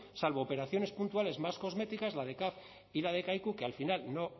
salvo operaciones puntuales más cosméticas la de caf y la de kaiku que al final no